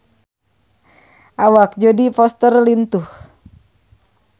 Awak Jodie Foster lintuh